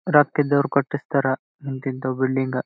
ರಕ್ಕಿದವರು ಕಟಿಸ್ತಾರಾ ಇಂತಿಂತ ಬಿಲ್ಡಿಂಗ್ .